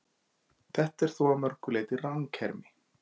Þetta er þó að mörgu leyti ranghermi.